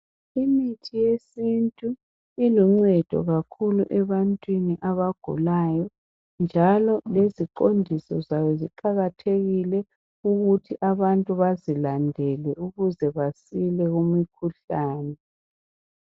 Imithi yesintu iluncedo kakhulu ebantwini abagulayo njalo leziqondiso zawo ziqakathekile ukuthi abantu bazilandele ukuze basile èmkhuhlaneni.